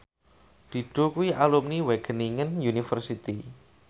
Dido kuwi alumni Wageningen University